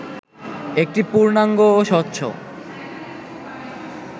একটি পূর্ণাঙ্গ ও স্বচ্ছ